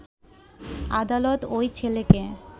আদালত ওই ছেলেকে